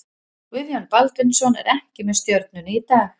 Guðjón Baldvinsson er ekki með Stjörnunni í dag.